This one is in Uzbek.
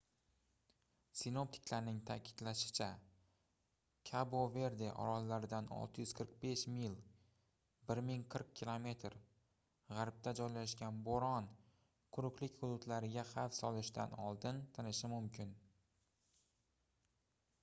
sinoptiklarning ta'kidlashicha kabo-verde orollaridan 645 mil 1040 km g'arbda joylashgan bo'ron quruqlik hududlariga xavf solishidan oldin tinishi mumkin